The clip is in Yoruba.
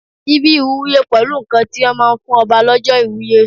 Síbí ìwúye pẹ̀lú nǹkan tí wọ́n máa ń fún Ọba lọ́jọ́ ìwúye.